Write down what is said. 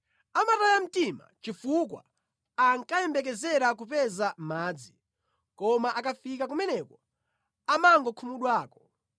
Amataya mtima chifukwa ankayembekezera kupeza madzi; koma akafika kumeneko, amangokhumudwako.